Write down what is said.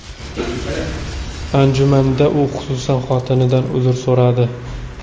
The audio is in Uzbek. Anjumanda u, xususan, xotinidan uzr so‘radi.